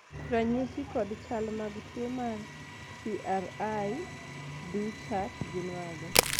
ranyisi kod chal mag tuo mar cri du chat gin mage?